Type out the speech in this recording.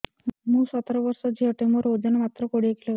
ମୁଁ ସତର ବର୍ଷ ଝିଅ ଟେ ମୋର ଓଜନ ମାତ୍ର କୋଡ଼ିଏ କିଲୋଗ୍ରାମ